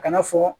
A kana fɔ